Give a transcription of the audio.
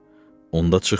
Onda çıx burdan!